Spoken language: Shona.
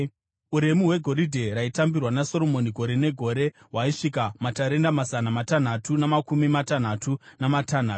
Uremu hwegoridhe raitambirwa naSoromoni gore negore hwaisvika matarenda mazana matanhatu namakumi matanhatu namatanhatu ,